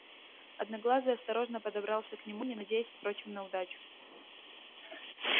одноглазый осторожно подобрался к нему не надеясь впрочем на удачу